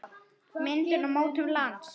Myndun og mótun lands